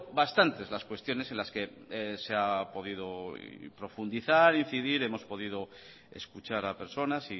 bastantes las cuestiones en las que se ha podido profundizar incidir hemos podido escuchar a personas